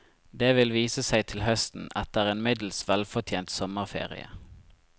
Det vil vise seg til høsten, etter en middels velfortjent sommerferie.